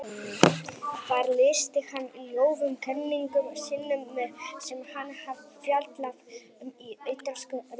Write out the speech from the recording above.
Þar lýsti hann í ljóðum kenningum sínum sem hann hafði fjallað um í Ítölsku ritunum.